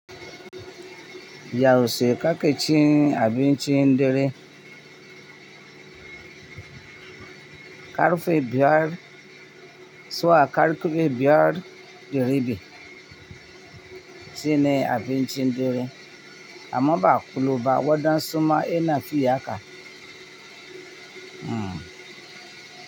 Yaushe kake cin abinci dare, ƙarfe biyar zuwa ƙarfe biyar ɗire biyu shine abinci ɗire, amma ba ƙulu ba, waɗansu ma yana fi haka. Hmm.